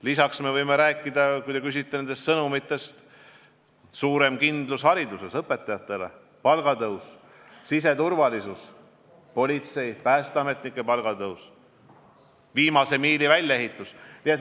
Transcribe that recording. Lisaks võime rääkida, kui te küsite nende sõnumite kohta, suuremast kindlusest hariduses ja siseturvalisuses ning viimase miili väljaehitamisest.